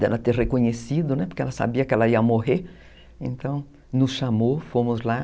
dela ter reconhecido, né, porque ela sabia que ela ia morrer, então nos chamou, fomos lá.